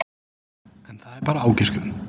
En það er bara ágiskun.